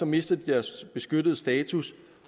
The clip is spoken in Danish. mister de deres beskyttede status